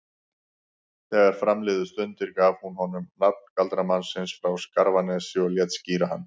Þegar fram liðu stundir gaf hún honum nafn galdramannsins frá Skarfanesi og lét skíra hann